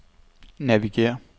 navigér